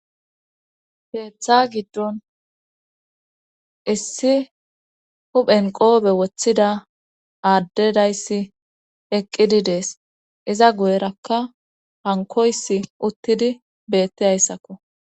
Keeththa giddon issi huphen qoobe woththida aaddedayssi eqqidi dees iza guyerakka hankoys uttidi beettidayssakko